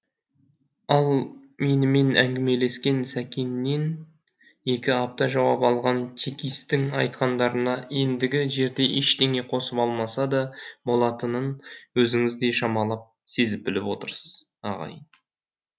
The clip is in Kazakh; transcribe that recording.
ал менімен әңгімелескен сәкеннен екі апта жауап алған чекистің айтқандарына ендігі жерде ештеңе қосып алмаса да болатынын өзіңіз де шамалап сезіп біліп отырсыз ағайын